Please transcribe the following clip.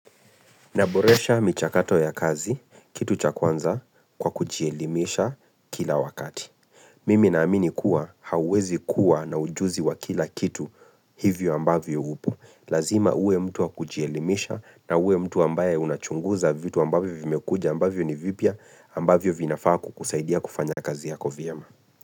Naboresha michakato ya kazi, kitu cha kwanza kwa kujielimisha kila wakati. Mimi naamini kuwa hauwezi kuwa na ujuzi wa kila kitu hivyo ambavyo hupo. Lazima uwe mtu wa kujielimisha na uwe mtu ambaye unachunguza vitu ambavyo vimekuja ambavyo ni vipya ambavyo vinafaa ku kusaidia kufanya kazi yako vyema.